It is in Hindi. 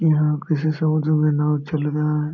यहाँ किसी समुद्र में नाव चल रहा है।